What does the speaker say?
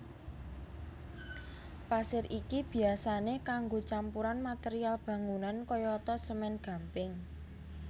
Pasir iki biyasané kanggo campuran material bangunan kayata semèn gamping